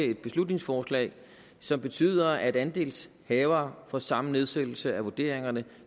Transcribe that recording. et beslutningsforslag som betyder at andelshavere får samme nedsættelse af vurderingerne